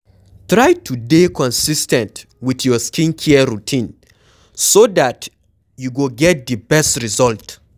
Try to dey consis ten t with your skin care routine so dat you go get di best result